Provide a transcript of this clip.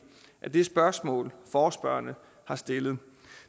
af det spørgsmål forespørgerne har stillet